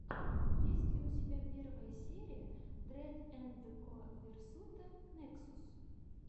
есть ли у тебя первая серия дрэд энд ко версута нексус